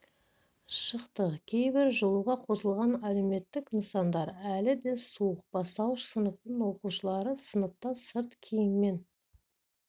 шықты кейбір жылуға қосылған әлеуметтік нысандар әлі де суық бастуыш сыныптың оқушылары сыныпта сырт киіммен